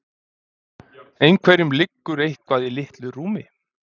Einhverjum liggur eitthvað í litlu rúmi